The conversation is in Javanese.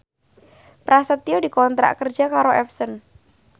Prasetyo dikontrak kerja karo Epson